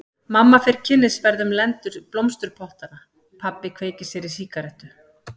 Mamma fer kynnisferð um lendur blómsturpottanna, pabbi kveikir sér í sígarettu.